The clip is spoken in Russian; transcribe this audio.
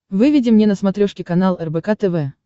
выведи мне на смотрешке канал рбк тв